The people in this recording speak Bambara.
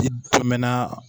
I dumɛna